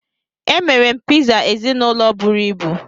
Emere m Pizza ezinụlọ buru ibu